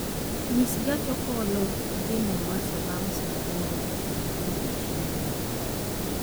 nyis gach okolo dhi mombasa bang' saa aboro otieno e odiechieng' jumapil